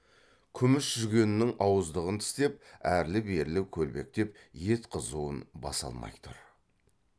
күміс жүгеннің ауыздығын тістеп әрлі берлі көлбектеп ет қызуын баса алмай тұр